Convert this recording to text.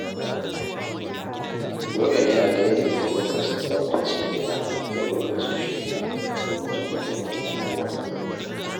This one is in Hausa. Dole ne a daidaita lokacin tsaftace gida da lokacin shiru don jin walwalar kowa.